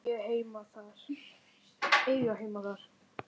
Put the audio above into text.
Eiga heima þar.